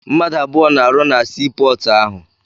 Mmadụ abụọ na-arụ na sii pọọtụ ahụ.